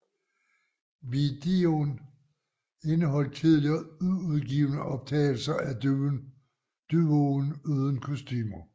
Videoen indeholdt tidligere uudgivne optagelser af duoen uden kostumer